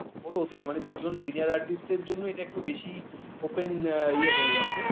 ওর অতীত মানে দুজন senior Artist এর জন্য এটা একটু বেশি open ইয়ে হয়ে গেছে